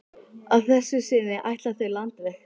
Að þessu sinni ætla þau landveg.